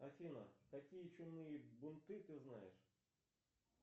афина какие чумные бунты ты знаешь